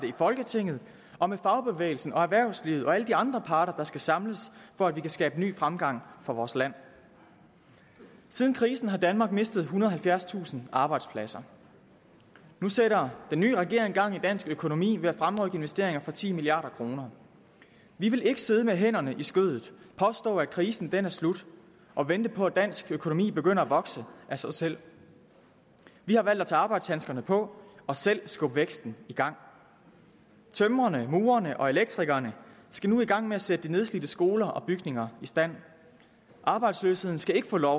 i folketinget og med fagbevægelsen og erhvervslivet og alle de andre parter der skal samles for at vi kan skabe ny fremgang for vores land siden krisen har danmark mistet ethundrede og halvfjerdstusind arbejdspladser nu sætter den nye regering gang i dansk økonomi ved at fremrykke investeringer for ti milliard kroner vi vil ikke sidde med hænderne i skødet påstå at krisen er slut og vente på at dansk økonomi begynder at vokse af sig selv vi har valgt at tage arbejdshandskerne på og selv skubbe væksten i gang tømrerne murerne og elektrikerne skal nu i gang med at sætte de nedslidte skoler og bygninger i stand arbejdsløsheden skal ikke få lov